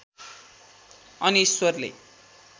अनि ईश्वरले